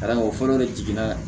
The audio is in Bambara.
Ka d'a kan o fɔlɔ de jiginna